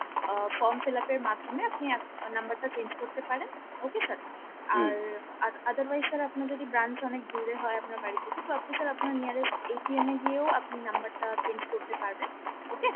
আহ form fill up এর মাধ্যমে আপনি number টা change করতে পারেন okay sir আর otherwise sir আপনার যদি branch অনেক দূরে হয় আপনার বাড়িথেকে তো আপনি sir আপনার nearest এ গিয়ে ও আপনি number টা change করতে পারবেন okay